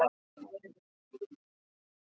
Hann var mikill embættismaður og hafði góða rithönd.